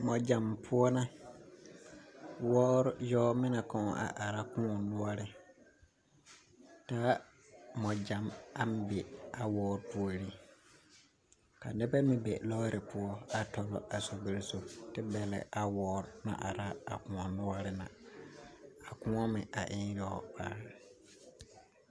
Mɔgyam poɔ na, wɔɔre yɔɔmine kɔɔ a are koɔ noɔre, taa mɔgyam aŋ be a wɔɔre puori, ka nebɛ meŋ be lɔɔre poɔ a tɔbɔ a sorbiri sonsoŋa, te bɛlɛ a wɔɔre na are a koɔ noɔre na, a koɔ meŋ e yɔɔ paa.